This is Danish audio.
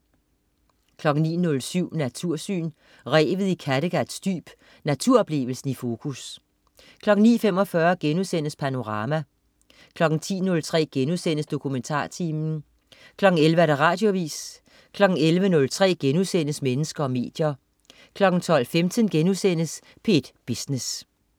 09.07 Natursyn. Revet i Kattegats dyb. Naturoplevelsen i fokus 09.45 Panorama* 10.03 DokumentarTimen* 11.00 Radioavis 11.03 Mennesker og medier* 12.15 P1 Business*